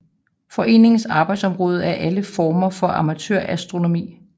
Foreningens arbejdsområde er alle former for amatørastronomi